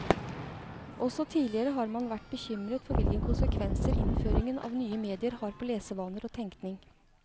Også tidligere har man vært bekymret for hvilke konsekvenser innføringen av nye medier har på lesevaner og tenkning.